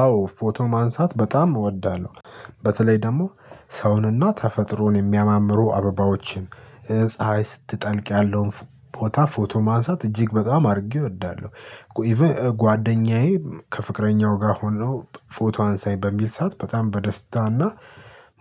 አዎ ፎቶ ማንሳት በጣም እወዳለሁ። በተለይ ደግሞ ሰውንና ተፈጥሮን የሚያማምሩ አበባዎችን ፀሀይ ስትጠልቅ ያለውን ፎታ ፎቶ ማንሳት እጅግ በጣም አድርጌ እወዳለሁ። ኢቭን ጓደኛዬ ከፍቅረኛው ጋር ሆኖ ፎቶ አንሳኝ በሚል ሰዓት በጣም በደስታና